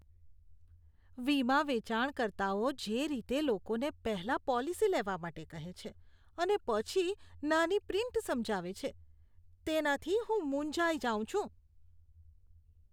વીમા વેચાણકર્તાઓ જે રીતે લોકોને પહેલા પોલિસી લેવા માટે કહે છે અને પછી નાની પ્રિન્ટ સમજાવે છે તેનાથી હું મૂંઝાઈ જાઉં છું.